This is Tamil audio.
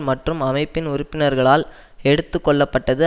மற்றும் அமைப்பின் உறுப்பினர்களால் எடுத்து கொள்ளப்பட்டது